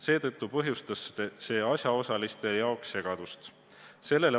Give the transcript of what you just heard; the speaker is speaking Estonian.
Seetõttu põhjustas see asjaosaliste jaoks segadust.